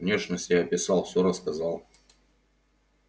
внешность я описал все рассказал